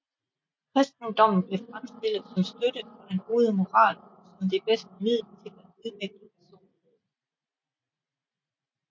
Kristendommen blev fremstillet som støtte for den gode moral og som det bedste middel til at udvikle personligheden